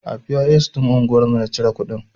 A POS ɗin anguwar mu na cire kuɗin.